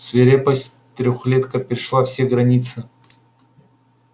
свирепость трёхлетка перешла все границы